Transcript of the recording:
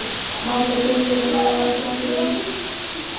Matarbirgðir eru á þrotum.